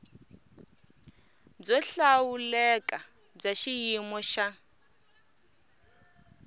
byo hlawuleka bya xiyimo xa